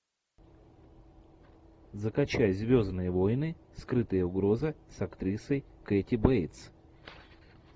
закачай звездные войны скрытая угроза с актрисой кэти бейтс